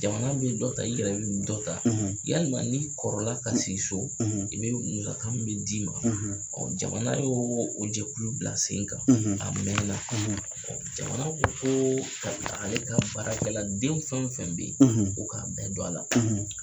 Jamana bɛ dɔ ta i yɛrɛ dɔ ta yalima ni kɔrɔla ka sigi so i bɛ musaka min bɛ d'i ma ɔ jamana y'o o jɛkulu bila sen kan 'a mɛn na ɔ jamana ko koo ka taa ale ka baarakɛla den fɛn fɛn bɛ yen o k'a bɛɛ don a la